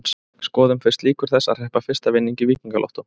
Skoðum fyrst líkur þess að hreppa fyrsta vinning í Víkingalottó.